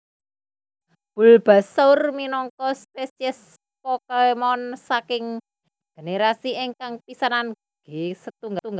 Bulbasaur minangka spesies Pokémon saking generasi ingkang kapisanan G setunggal